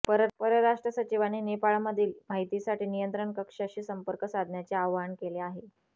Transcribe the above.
परराष्ट्र सचिवांनी नेपाळमधील माहितीसाठी नियंत्रण कक्षाक्षी संपर्क साधण्याचे आवाहन केले आहे